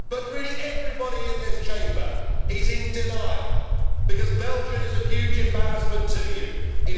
Really, everybody in this Chamber is in denial because Belgium is a huge embarrassment to them.